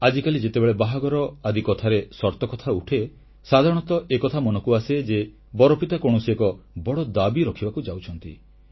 ଆଜିକାଲି ଯେତେବେଳେ ବାହାଘର ଆଦି କଥାରେ ସର୍ତ୍ତ କଥା ଉଠେ ସାଧାରଣତଃ ଏକଥା ମନକୁ ଆସେ ଯେ ବରପିତା କୌଣସି ଏକ ବଡ଼ ଦାବି ରଖିବାକୁ ଯାଉଛନ୍ତି